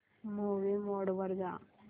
movie mode वर जा